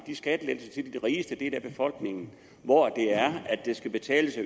skattelettelser til den rigeste del af befolkningen skal betales